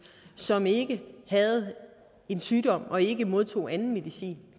som ikke havde en sygdom og ikke modtog anden medicin